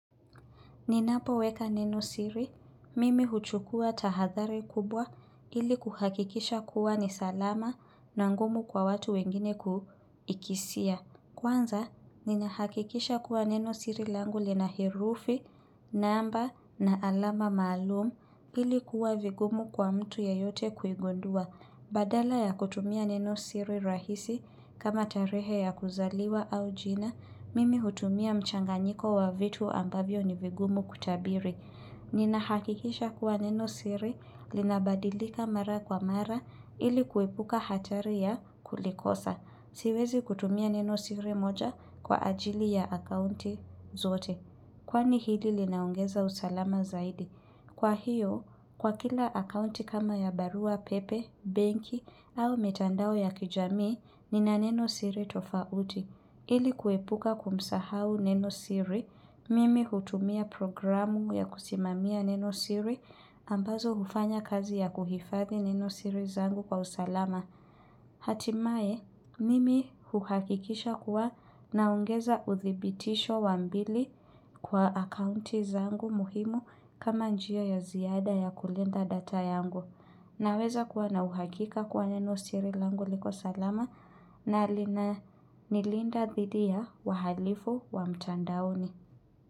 Ninapo weka neno siri, mimi huchukua tahathari kubwa ili kuhakikisha kuwa ni salama na ngumu kwa watu wengine kuikisia. Kwanza, ninahakikisha kuwa neno siri langu lina herufi, namba na alama maalumu ili kuwa vigumu kwa mtu yeyote kuigundua. Badala ya kutumia neno siri rahisi kama tarehe ya kuzaliwa au jina, mimi hutumia mchanganiko wa vitu ambavyo ni vigumu kutabiri. Ninahakikisha kuwa neno siri, linabadilika mara kwa mara ili kuepuka hatari ya kulikosa. Siwezi kutumia neno siri moja kwa ajili ya akaunti zote. Kwani hili linaongeza usalama zaidi? Kwa hiyo, kwa kila akaunti kama ya barua, pepe, banki au mitandao ya kijamii, nina neno siri tofauti. Ili kuepuka kumsahau neno siri, mimi hutumia programu ya kusimamia neno siri ambazo hufanya kazi ya kuhifathi neno siri zangu kwa usalama. Hatimaye mimi huhakikisha kuwa naongeza uthibitisho wa mbili kwa akaunti zangu muhimu kama njia ya ziada ya kulinda data yangu. Naweza kuwa na uhakika kuwa neno siri langu liko salama na linanilinda thidi ya wahalifu wa mtandaoni.